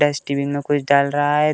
Dustbin में कुछ डाल रहा है।